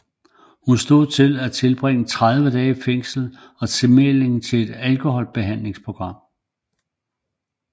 Hun stod til at skulle tilbringe 30 dage i fængsel og tilmelding til et alkoholbehandlingsprogram